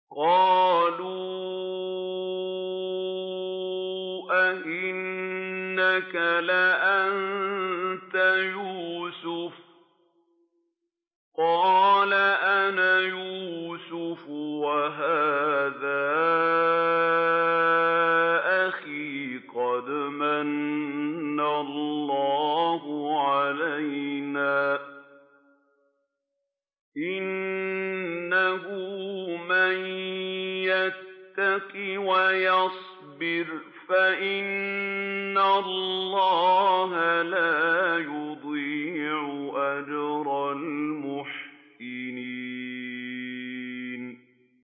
قَالُوا أَإِنَّكَ لَأَنتَ يُوسُفُ ۖ قَالَ أَنَا يُوسُفُ وَهَٰذَا أَخِي ۖ قَدْ مَنَّ اللَّهُ عَلَيْنَا ۖ إِنَّهُ مَن يَتَّقِ وَيَصْبِرْ فَإِنَّ اللَّهَ لَا يُضِيعُ أَجْرَ الْمُحْسِنِينَ